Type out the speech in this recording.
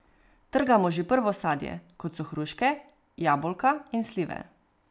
Trgamo že prvo sadje, kot so hruške, jabolka in slive.